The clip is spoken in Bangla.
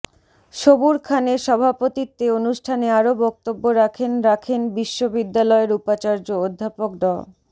সবুর খানের সভাপতিত্বে অনুষ্ঠানে আরও বক্তব্য রাখেন রাখেন বিশ্ববিদ্যালয়ের উপাচার্য অধ্যাপক ড